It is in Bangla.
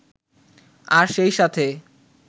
আর সেই সাথে